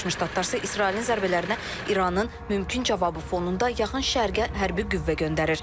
Birləşmiş Ştatlar isə İsrailin zərbələrinə İranın mümkün cavabı fonunda yaxın Şərqə hərbi qüvvə göndərir.